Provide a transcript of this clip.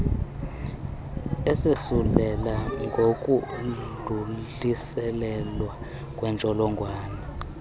esosulela ngokudluliselwa kwentsholongwane